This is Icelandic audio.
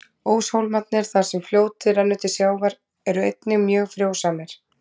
Óshólmarnir, þar sem fljótið rennur til sjávar, eru einnig mjög frjósamir.